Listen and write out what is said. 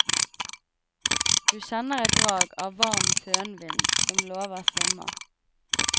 Du kjenner et drag av varm fønvind som lover sommer.